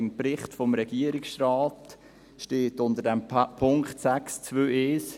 Im Bericht des Regierungsrates steht unter dem Punkt 6.2.1: «